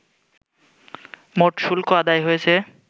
মোট শুল্ক আদায় হয়েছে